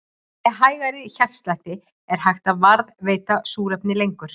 Með hægari hjartslætti er hægt að varðveita súrefni lengur.